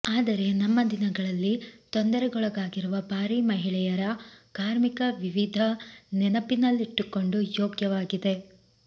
ಆದರೆ ನಮ್ಮ ದಿನಗಳಲ್ಲಿ ತೊಂದರೆಗೊಳಗಾಗಿರುವ ಬಾರಿ ಮಹಿಳೆಯರ ಕಾರ್ಮಿಕ ವಿವಿಧ ನೆನಪಿನಲ್ಲಿಟ್ಟುಕೊಂಡು ಯೋಗ್ಯವಾಗಿದೆ